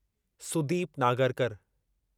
Sudeep Nagarkar